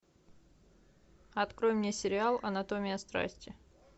открой мне сериал анатомия страсти